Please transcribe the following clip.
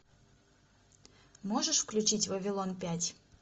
можешь включить вавилон пять